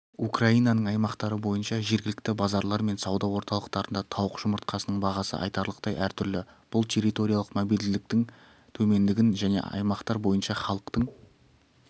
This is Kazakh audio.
украинаның аймақтары бойныша жергілікті базарлар мен сауда орталықтарында тауық жұмыртқасының бағысы айтарлықтай әртүрлі бұл территориялық мобильділіктің төмендігін және аймақтар бойынша халықтың